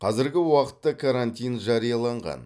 қазіргі уақытта карантин жарияланған